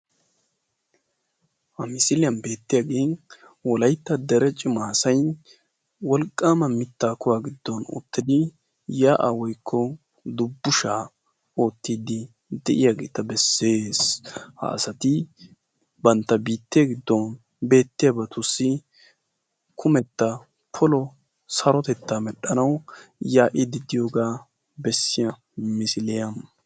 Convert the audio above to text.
ha misiliyan beettiyaagen wolaitta dere cimaasain wolqqaama mittaa kuwaa giddon ottidi yaa'aa woikko dubbushaa oottiddi de'iyaageeta bessees ha asati bantta biittee giddon beettiyaabatussi kumetta polo sarotettaa medhdhanau yaa'iididdiyoogaa bessiya misiliyaa.